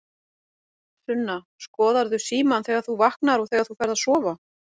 Sunna: Skoðarðu símann þegar þú vaknar og þegar þú ferð að sofa?